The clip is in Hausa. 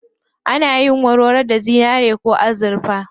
Ana yin warwaro da zinari ko azurfa.